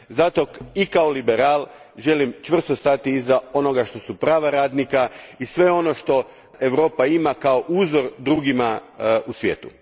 Zato i kao liberal želim čvrsto stati iza onoga što su prava radnika i sve ono što Europa danas ima kao uzor drugima u svijetu.